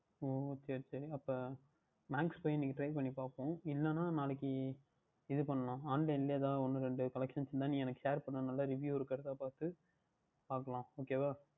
ஓ சரி சரி அப்பொழுது Max சென்று இன்னைக்கு Try பண்ணிப்பார்ப்போம் இல்லையென்றால் நாளைக்கு இதுபன்னலாம் Online லையே எதாவது ஒன்று இரண்டு Collections இருந்தால் எனக்கு Share பன்னு நன்றாக Review இருக்கின்றதா பார்த்து பார்க்கலாம் Ok வா